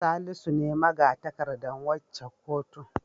Salisu ne maga-takardar waccan kotun.